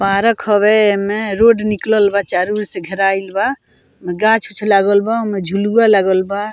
Park हवे एमे road निकलल बा चारो ओर से घेराइल बा ओय मे गाछ उच्छ लागल बा ओय मे झुलवा लागल बा।